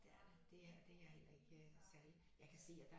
Det er det det er det er heller ikke særlig jeg kan se at der